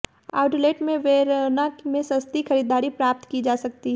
outlet में Verona में सस्ती खरीदारी प्राप्त की जा सकती है